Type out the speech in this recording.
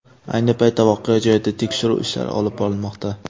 Ayni paytda voqea joyida tekshiruv ishlari olib borilmoqda.